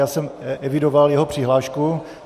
Já jsem evidoval jeho přihlášku.